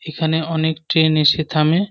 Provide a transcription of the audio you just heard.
এখানে অনেক ট্রেন এসে থামে।